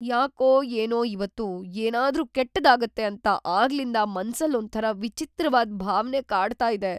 ಯಾಕೋ ಏನೋ ಇವತ್ತು ಏನಾದ್ರೂ ಕೆಟ್ಟದಾಗತ್ತೆ ಅಂತ ಆಗ್ಲಿಂದ ಮನ್ಸಲ್ಲೊಂಥರ ವಿಚಿತ್ರವಾದ್‌ ಭಾವ್ನೆ ಕಾಡ್ತಾ ಇದೆ.